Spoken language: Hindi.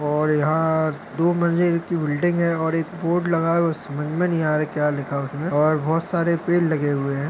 और यहा दो मंजिल की बिल्डिंग है और एक बोर्ड लगा है वो समझ मे नहीं आ रह है क्या लिखा है उसमे और बहुत सारे पेड़ लगे हुए है।